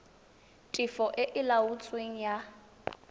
tefo e e laotsweng ya